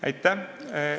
Aitäh!